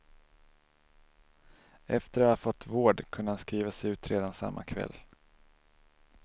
Efter att ha fått vård kunde han skrivas ut redan samma kväll.